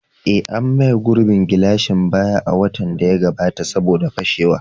Eh, an maye gurbin gilashin baya a watan da ya gabata saboda fashewa.